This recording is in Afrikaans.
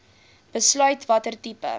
besluit watter tipe